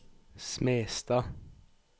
Smestad